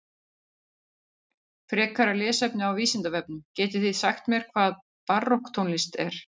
Frekara lesefni á Vísindavefnum Getið þið sagt mér hvað barokktónlist er?